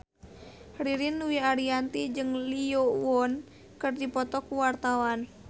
Ririn Dwi Ariyanti jeung Lee Yo Won keur dipoto ku wartawan